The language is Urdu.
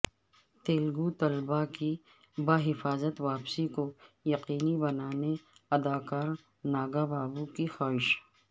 تلگو طلبہ کی بحفاظت واپسی کو یقینی بنانے اداکار ناگابابو کی خواہش